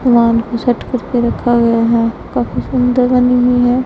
Plant के साथ कुछ तो रखा गया है काफी सुंदर बनी हुई है।